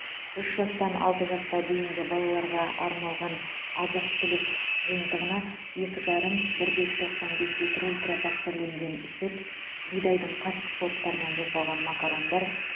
үш жастан алты жасқа дейінгі балаларға арналған азық түлік жиынтығына екі жарым бірде тоқсан бес литр ультра пастерленген сүт бидайдың қатты сорттарынан жасалған макарондар